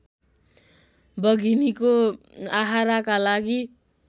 बघिनीको आहाराका लागि